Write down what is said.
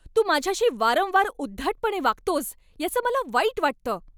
तू माझ्याशी वारंवार उद्धटपणे वागतोस याचं मला वाईट वाटतं.